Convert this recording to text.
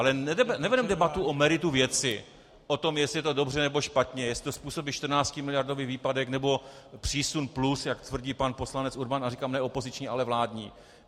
Ale nevedeme debatu o meritu věci, o tom, jestli je to dobře, nebo špatně, jestli to způsobí 14miliardový výpadek, nebo přísun plus, jak tvrdí pan poslanec Urban - a říkám, ne opoziční, ale vládní.